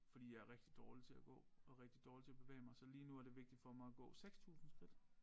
Fordi jeg rigtig dårlig til at gå og rigtig dårlig til at bevæge mig så lige nu er det vigtigt for mig at gå 6000 skridt